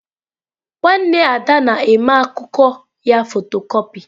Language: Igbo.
Nwanne Ada na-mee akụkọ ya fotocopị.